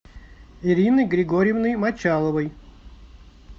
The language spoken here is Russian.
ириной григорьевной мочаловой